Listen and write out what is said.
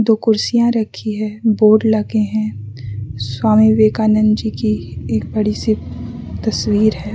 वो कुर्सियां रखी है बोर्ड लगे हैं स्वामी विवेकानंद जी की एक बड़ी सी तस्वीर है।